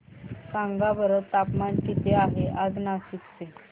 सांगा बरं तापमान किती आहे आज नाशिक चे